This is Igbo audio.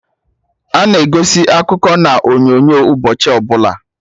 Ana egosi akụkọ na onyonyo ụbọchị ọbụla